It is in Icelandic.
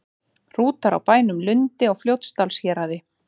Hrútar á bænum Lundi á Fljótsdalshéraði.